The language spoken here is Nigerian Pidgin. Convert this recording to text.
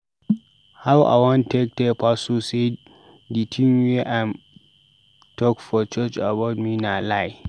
How I wan take tell pastor sey di tin wey im talk for church about me na lie?